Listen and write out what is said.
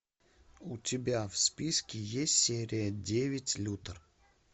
у тебя в списке есть серия девять лютер